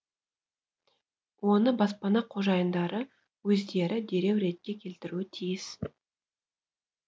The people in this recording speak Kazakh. оны баспана қожайындары өздері дереу ретке келтіруі тиіс